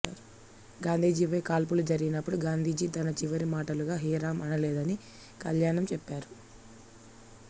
గాంధీజీ పై కాల్పులు జరిగినపుడు గాంధీజీ తన చివరి మాటలుగా హే రామ్ అనలేదని కళ్యాణం చెప్పారు